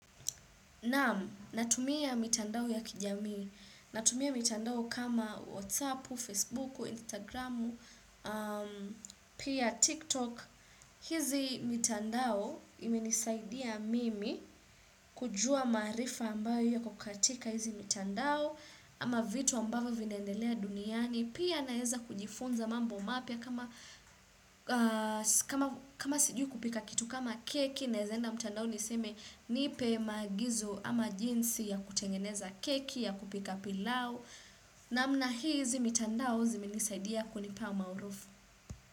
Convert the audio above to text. Naam, natumia mitandao ya kijamii. Natumia mitandao kama WhatsApp, Facebook, Instagram, pia TikTok. Hizi mitandao imenisaidia mimi kujua maarifa ambayo iko katika hizi mitandao ama vitu ambavyo vinaendelea duniani. Pia naeza kujifunza mambo mapya kama siju kupika kitu kama keki naezaenda mtandao niseme nipe maagizo ama jinsi ya kutengeneza keki ya kupika pilau namna hizi mtandao zimenisaidia kunipa maarufu.